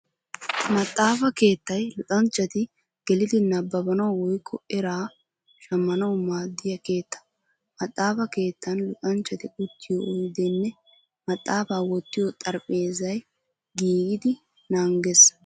Maxaafa keettay luxanchchati gelidi nabbabanwu woykko eraa shammanawu maaddiyaa keetta. Maxaafa keettan luxanchchati uttiyo oydenne maxaafaa wottiyo xarapheezzay giigidi naagees.